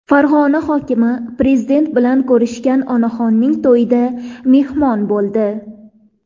Farg‘ona hokimi Prezident bilan ko‘rishgan onaxonning to‘yida mehmon bo‘ldi.